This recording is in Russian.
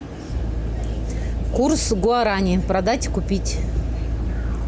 курс гуарани продать купить